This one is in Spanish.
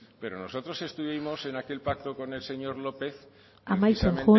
pero nosotros estuvimos en aquel pacto con el señor lópez amaitzen